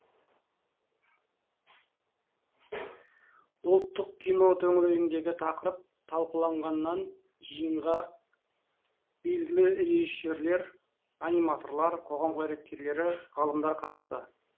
ұлттық кино төңірегіндегі тақырып талқыланған жиынға белгілі режиссерлер аниматорлар қоғам қайраткерлері ғалымдар қатысты